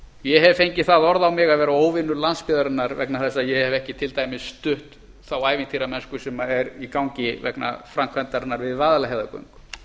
ég hef fengið það orð á mig að vera óvinur landsbyggðarinnar vegna þess að ég hef ekki til dæmis stutt þá ævintýramennsku sem er í gangi vegna framkvæmdarinnar við vaðlaheiðargöng